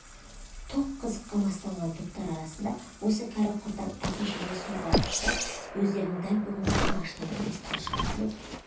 тоқ қызыққа мастанған топтар арасында осы кәрі-құртаң әке-шеше сорға ұшырап өздерінің дәл бүгінгі түн аштан өлмес талшығын тілеп